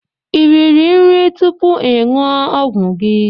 Ị riri nri tupu ị ṅụọ ọgwụ gị?